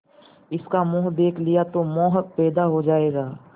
इसका मुंह देख लिया तो मोह पैदा हो जाएगा